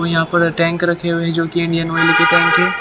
यहाँ पर टैंक रखे हुए हैं जो कि इंडियन टैंक है।